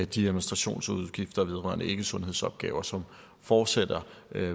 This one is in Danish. de administrationsudgifter vedrørende ikkesundhedsopgaver som fortsætter